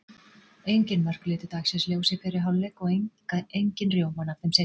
Engin mörk litu dagsins ljós í fyrri hálfleik og engin rjómann af þeim seinni.